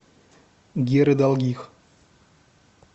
геры долгих